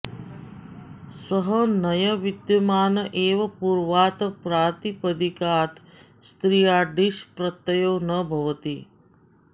सह नञ् विद्यमान एवं पूर्वात् प्रातिपदिकात् स्त्रियां ङीष् प्रत्ययो न भवति